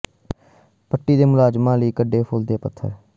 ਪੱਟੀ ਦੇ ਪੁਲਿਸ ਮੁਲਾਜ਼ਮਾਂ ਲਈ ਕਦੇ ਫੁੱਲ ਤੇ ਕਦੇ ਪੱਥਰ